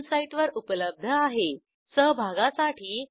ह्या ट्युटोरियलचे भाषांतर मनाली रानडे यांनी केले असून मी आपला निरोप घेते160